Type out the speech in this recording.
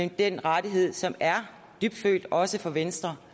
den rettighed som er dybtfølt også for venstre